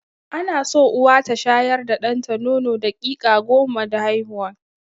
Ana so Uwa ta shayar da ɗanta nono daƙiƙa goma da haihuwa.